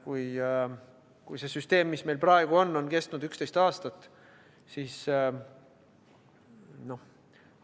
Kui see süsteem, mis meil praegu on, on kestnud 11 aastat, siis